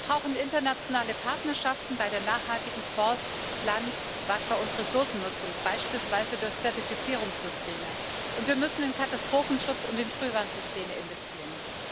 Wir brauchen internationale Partnerschaften bei der nachhaltigen Forst Land Wasser und Ressourcennutzung, beispielsweise durch Zertifizierungssysteme, und wir müssen in Katastrophenschutz und in Frühwarnsysteme investieren.